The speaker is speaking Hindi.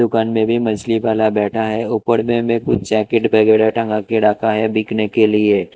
ऊपर में भी मछली वाला बेठा है ऊपर में भी कुछ जाकेट वगैरा टंगा के रखा है बिकने के लिए--